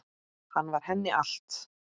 Hann var henni allt.